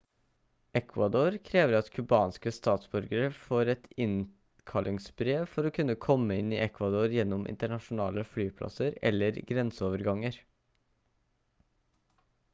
ecuador krever at cubanske statsborgere får et innkallingsbrev for å kunne komme inn i ecuador gjennom internasjonale flyplasser eller grenseoverganger